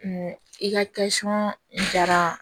i ka jara